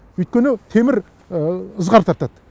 өйткені темір ызғар тартады